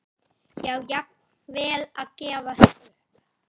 Já, jafnvel að gefast upp.